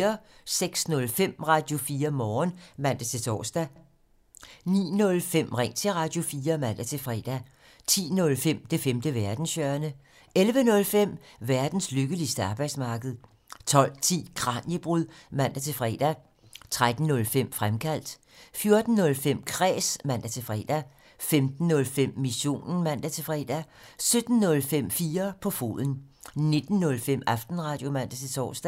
06:05: Radio4 Morgen (man-tor) 09:05: Ring til Radio4 (man-fre) 10:05: Det femte verdenshjørne 11:05: Verdens lykkeligste arbejdsmarked 12:10: Kraniebrud (man-fre) 13:05: Fremkaldt 14:05: Kræs (man-fre) 15:05: Missionen (man-fre) 17:05: 4 på foden 19:05: Aftenradio (man-tor)